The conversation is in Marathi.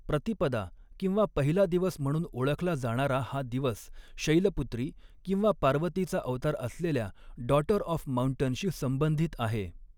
प्रतिपदा किंवा पहिला दिवस म्हणून ओळखला जाणारा हा दिवस, शैलपुत्री किंवा पार्वतीचा अवतार असलेल्या 'डॉटर ऑफ माउंटन' शी संबंधित आहे.